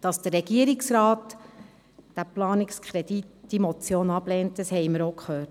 Dass der Regierungsrat diese Motion ablehnt, haben wir auch gehört.